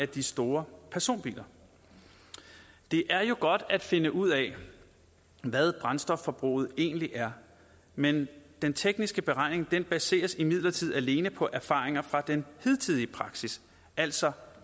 de store personbiler det er jo godt at finde ud af hvad brændstofforbruget egentlig er men den tekniske beregning baseres imidlertid alene på erfaringer fra den hidtidige praksis altså